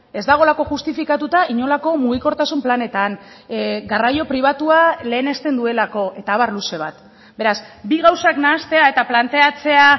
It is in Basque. ez dagoelako justifikatuta inolako mugikortasun planetan garraio pribatua lehenesten duelako eta abar luze bat beraz bi gauzak nahastea eta planteatzea